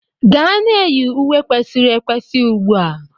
Gaa na-eyi uwe kwesịrị ekwesị ugbu a!